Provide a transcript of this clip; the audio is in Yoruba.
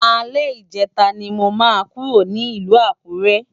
Alè Ijètá ni mó kúró ni Ilù Akure